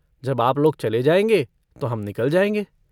जब आप लोग चले जायेंगे तो हम निकल जायेंगे।